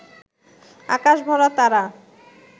আকাশ ভরা তারা